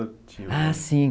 Ah, sim.